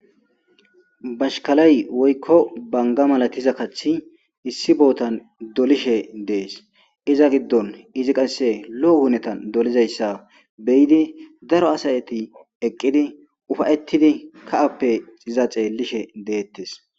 Bashshikalayi woyikko banigga malattiza kaththi issi botanni dolishshe dees.izza giddon izzi qase lo'o hunettanni dolizayissa be'idd daro asati eqqidd uffa'ettid kahappe izza xeelishshe detees.